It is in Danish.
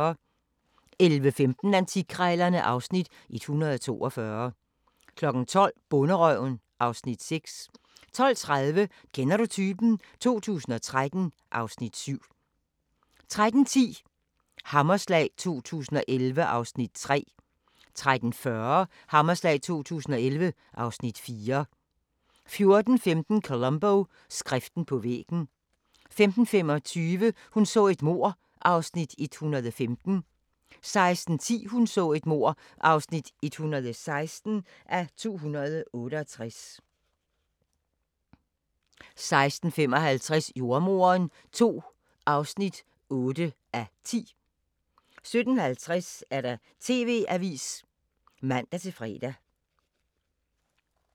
11:15: Antikkrejlerne (Afs. 142) 12:00: Bonderøven (Afs. 6) 12:30: Kender du typen? 2013 (Afs. 7) 13:10: Hammerslag 2011 (Afs. 3) 13:40: Hammerslag 2011 (Afs. 4) 14:15: Columbo: Skriften på væggen 15:25: Hun så et mord (115:268) 16:10: Hun så et mord (116:268) 16:55: Jordemoderen II (8:10) 17:50: TV-avisen (man-fre)